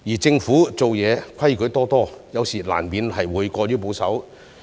政府做事則規矩多多，有時候難免過於保守。